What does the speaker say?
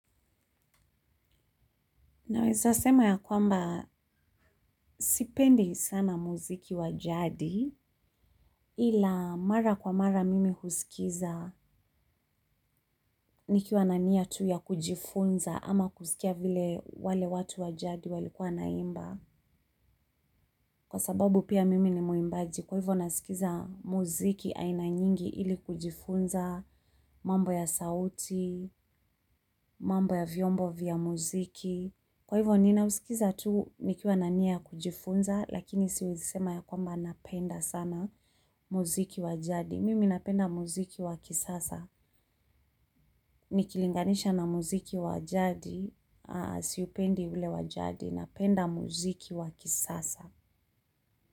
Naweza sema ya kwamba sipendi sana muziki wa jadi ila mara kwa mara mimi husikiza nikiwa na nia tu ya kujifunza ama kusikia vile wale watu wa jadi walikuwa wanaimba. Kwa sababu pia mimi ni mwimbaji kwa hivyo nasikiza muziki aina nyingi ili kujifunza mambo ya sauti, mambo ya vyombo vya muziki. Kwa hivyo ninausikiza tu nikiwa na nia kujifunza, lakini siwezi sema ya kwamba napenda sana muziki wa jadi. Mimi napenda muziki wa kisasa. Nikilinganisha na muziki wa jadi, siupendi ule wa jadi, napenda muziki wa kisasa.